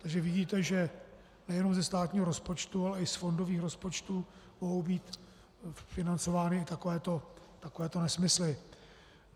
Takže vidíte, že nejenom ze státního rozpočtu, ale i z fondových rozpočtů mohou být financovány takovéto nesmysly.